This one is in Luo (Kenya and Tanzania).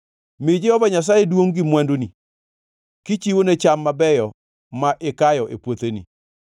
Mi Jehova Nyasaye duongʼ gi mwanduni kichiwone cham mabeyo ma ikayo e puotheni;